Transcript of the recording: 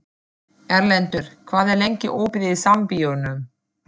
Erlendur, hvað er lengi opið í Sambíóunum?